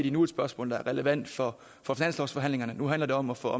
endnu et spørgsmål der er relevant for for finanslovsforhandlingerne nu handler det om at få